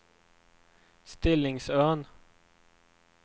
Stillingsön